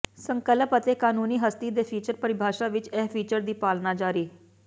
ਸੰਕਲਪ ਅਤੇ ਕਾਨੂੰਨੀ ਹਸਤੀ ਦੇ ਫੀਚਰ ਪਰਿਭਾਸ਼ਾ ਵਿੱਚ ਇਹ ਫੀਚਰ ਦੀ ਪਾਲਣਾ ਜਾਰੀ